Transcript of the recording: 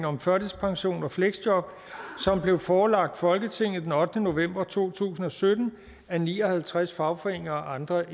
om førtidspension og fleksjob som blev forelagt folketinget den ottende november to tusind og sytten af ni og halvtreds fagforeninger og andre